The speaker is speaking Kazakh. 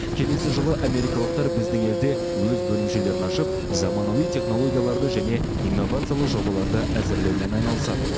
келесі жылы америкалықтар біздің елде өз бөлімшелерін ашып заманауи технологияларды және инновациялық жобаларды әзірлеумен айналысады